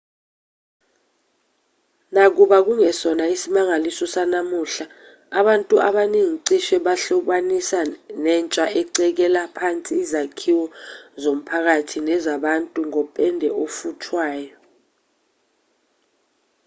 nakuba kungesona isimangaliso sanamuhla abantu abaningi cishe bakuhlobanisa nentsha ecekela phansi izakhiwo zomphakathi nezabantu ngopende ofuthwayo